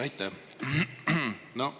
Aitäh!